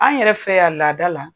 An yɛrɛ fɛ yan laada la